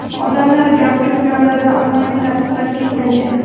Odamlar gavjum joylarda ommaviy tadbirlar cheklangan .